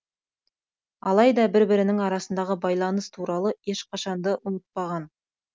алайда бір бірінің арасындағы байланыс туралы ешқашанды ұмытпаған